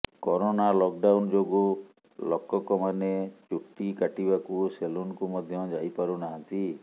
corona lockdown ଯୋଗୁ ଲକକମାନେ ଚୁଟି କାଟିବାକୁ ସେଲୁନକୁ ମଧ୍ୟ ଯାଇ ପାରୁନାହାନ୍ତି